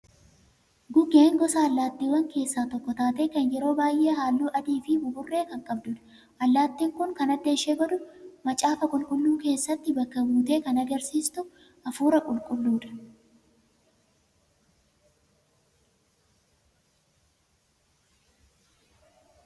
Gugeen gosa allaattiiwwanii keessaa tokko taatee kan yeroo baay'ee halluu adii fi buburree kan qabdudha. Allaattiin Kun kan adda ishee godhu macaafa qulqulluu keessatti bakka buutee kan agarsiiftu hafuura qulqulluuti.